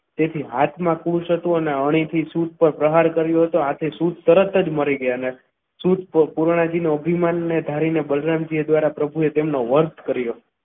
તેથી હાથમાં ખુશ હતું અને અણીથી પ્રહાર શુદ્ધ પર પ્રહાર કર્યો હતો હાથે શુદ્ધ તરત જ મરી ગયા. સુઈ તો અભિમાનને ધારીને બલરામજી દ્વારા પ્રભુએ તેમનો વધ કર્યો.